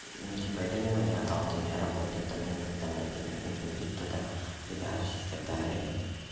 ну типа это не мои аккаунты но я работаю там на них там например нужно будет что-то редачить и так далее